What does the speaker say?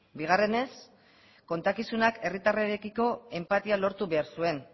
bigarrenez kontakizunak herritarrarekiko enpatia lortu behar zuen